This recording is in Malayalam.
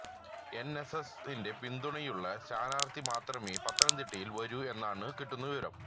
എൻഎസ്എസിന്റെ പിന്തുണയുള്ള സ്ഥാനാർഥി മാത്രമേ പത്തനതിട്ടയിൽ വരൂ എന്നാണ് കിട്ടുന്ന വിവരം